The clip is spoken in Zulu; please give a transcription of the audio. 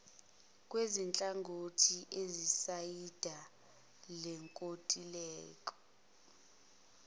kwezinhlangothi ezisayinda lenkontileka